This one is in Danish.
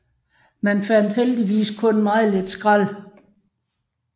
Man fandt heldigvis kun meget lidt skrald